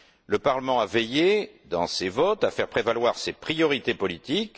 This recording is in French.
Le Parlement a veillé, dans ses votes, à faire prévaloir ses priorités politiques.